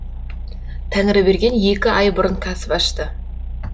тәңірберген екі ай бұрын кәсіп ашты